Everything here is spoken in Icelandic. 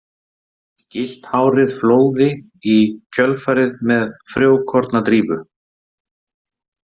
Gyllt hárið flóði í kjölfarið með frjókornadrífu.